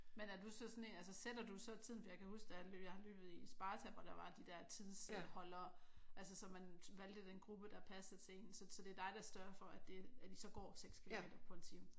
Men er du så sådan en altså sætter du så tiden? For jeg kan huske da jeg løb jeg har løbet i Sparta hvor der var de der tidsholdere altså så man valgte den gruppe der passede til en. Så det er dig der sørger for det at I så går 6 kilometer på en time?